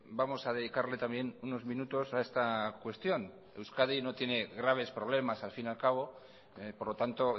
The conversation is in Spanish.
vamos a dedicarle también unos minutos a esta cuestión euskadi no tiene graves problemas al fin y al cabo por lo tanto